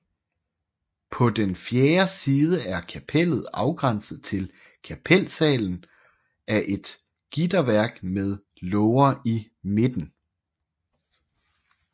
På den fjerde side er kapellet afgrænset til kapelsalen af et gitterværk med låger i midten